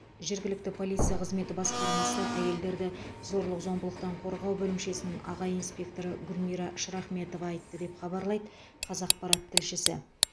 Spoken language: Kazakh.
жергілікті полиция қызметі басқармасы әйелдерді зорлық зомбылықтан қорғау бөлімшесінің аға инспекторы гүлмира шрахметова айтты деп хабарлайды қазақпарат тілшісі